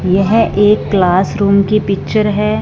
यह एक classroom की पिक्चर है।